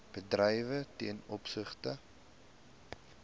bedrywe ten opsigte